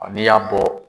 N'i y'a bɔ